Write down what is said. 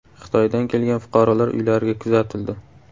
Xitoydan kelgan fuqarolar uylariga kuzatildi.